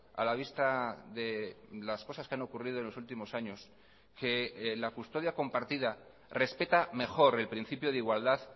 a la vista de las cosas que han ocurrido en los últimos años que la custodia compartida respeta mejor el principio de igualdad